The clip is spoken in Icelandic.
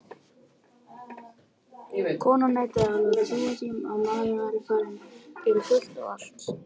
Konan neitaði alveg að trúa því að maðurinn væri farinn fyrir fullt og allt.